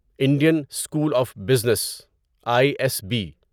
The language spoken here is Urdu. Indian School of Business I S be